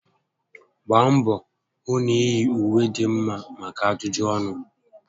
Gbaa mbọ hụ na iyi ùwé dị mma maka ajụjụ ọnụ